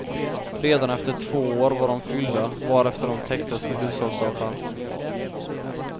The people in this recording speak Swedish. Redan efter två år var de fyllda, varefter de täcktes med hushållsavfall.